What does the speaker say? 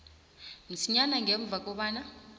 msinyana ngemva kobana